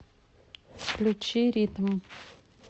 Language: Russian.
включи ритм